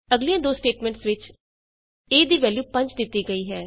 ਅਗਲੀਆਂ ਦੋ ਸਟੇਟਮੈਂਟਸ ਵਿਚ a ਦੀ ਵੈਲਯੂ 5 ਦਿੱਤੀ ਗਈ ਹੈ